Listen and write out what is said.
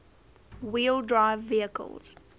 wheel drive vehicles